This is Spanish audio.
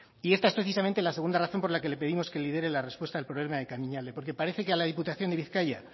y esta es precisamente la segunda razón por la que le pedimos que lidere la respuesta al problema de kamiñalde porque parece que a la diputación de bizkaia